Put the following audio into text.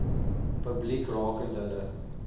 publiek rakende hulle